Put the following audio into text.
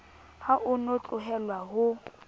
ha o no tlohelwa ho